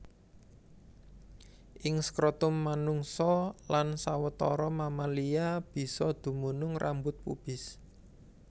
Ing skrotum manungsa lan sawetara mamalia bisa dumunung rambut pubis